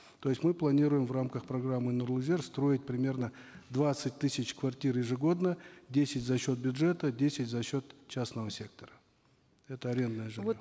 то есть мы планируем в рамках программы нурлы жер строить примерно двадцать тысяч квартир ежегодно десять за счет бюджета десять за счет частного сектора это арендное жилье